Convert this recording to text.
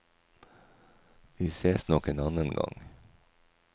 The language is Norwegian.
Vi sees nok en annen gang.